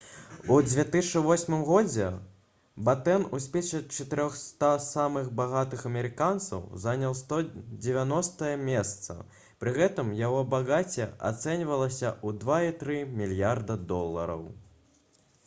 у 2008 годзе батэн у спісе 400 самых багатых амерыканцаў заняў 190 месца пры гэтым яго багацце ацэньвалася ў 2,3 мільярда долараў